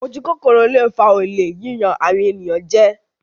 Ojú kòkòrò ló ń fa olè, yíyan àwọn ènìyàn jẹ.